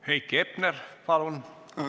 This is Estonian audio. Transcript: Heiki Hepner, palun!